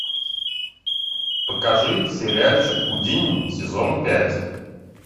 покажи сериальчик гудини сезон пять